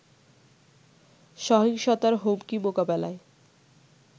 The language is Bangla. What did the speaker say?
সহিংসতার হুমকি মোকাবেলায়